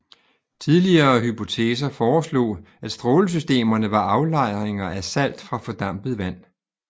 Tidligere hypoteser foreslog at strålesystemerne var aflejringer af salt fra fordampet vand